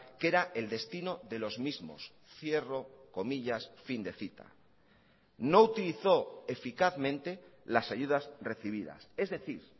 que era el destino de los mismos cierro comillas fin de cita no utilizó eficazmente las ayudas recibidas es decir